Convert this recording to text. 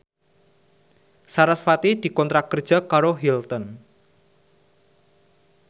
sarasvati dikontrak kerja karo Hilton